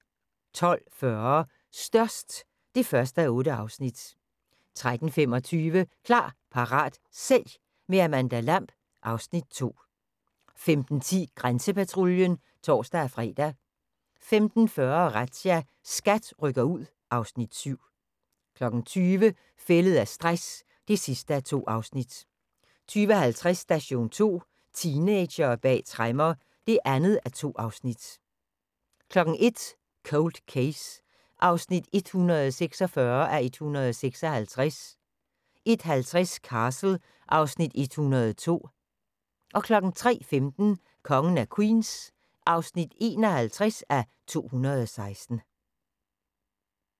12:40: Størst (1:8) 13:25: Klar, parat, sælg – med Amanda Lamb (Afs. 2) 15:10: Grænsepatruljen (tor-fre) 15:40: Razzia – SKAT rykker ud (Afs. 7) 20:00: Fældet af stress (2:2) 20:50: Station 2: Teenagere bag tremmer (2:2) 01:00: Cold Case (146:156) 01:50: Castle (Afs. 102) 03:15: Kongen af Queens (51:216)